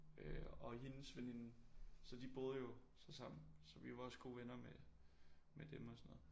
Øh og hendes veninde så de boede jo så sammen så vi var også gode venner med med dem og sådan noget